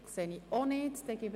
– Dies ist auch nicht der Fall.